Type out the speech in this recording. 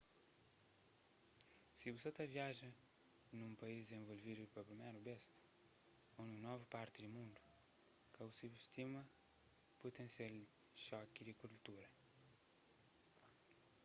si bu sa ta viaja nun país dizenvolvidu pa priméru bês ô nun novu parti di mundu ka bu subustima putensial xoki di kultura